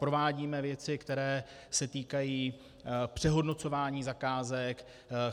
Provádíme věci, které se týkají přehodnocování zakázek.